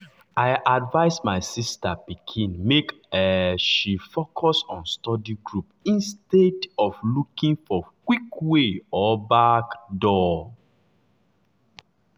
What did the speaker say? i advise my sister pikin make um she focus on study group instead instead of looking for quick way or backdoor.